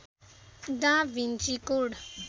दा Vinci code